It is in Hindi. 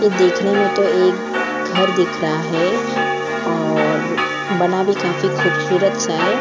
ये देखने में तो एक घर दिख रहा है और बना भी काफी खूबसूरत सा है।